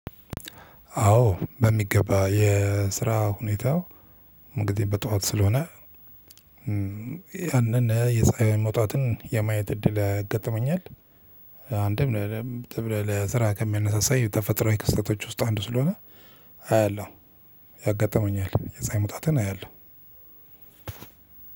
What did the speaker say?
አዎ በሚገባ የስራ ሁኔታው እንግዲህ በጧት ስለሆነ ያንን የፀሀይ መውጣትን የማየት እድል ያገጥመኛል። አንድም ለስራ ከሚያነሳሳኝ ተፈጥሮ የክስተቶች ውስጥ አንዱ ስለሆነ አያለሁ። ያጋጥመኛል የፀሀይ መውጣትን አያለሁ።